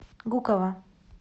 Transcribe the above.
гуково